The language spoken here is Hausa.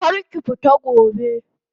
Kar ki fita gobe!